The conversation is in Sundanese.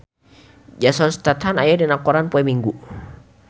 Jason Statham aya dina koran poe Minggon